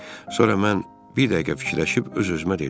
Sonra mən bir dəqiqə fikirləşib öz-özümə dedim: